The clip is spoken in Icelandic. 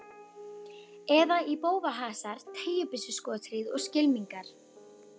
Eða í bófahasar, teygjubyssuskothríð og skylmingar.